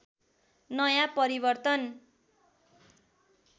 नयाँ परिवर्तन